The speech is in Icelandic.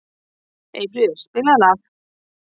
Eyfríður, spilaðu lag.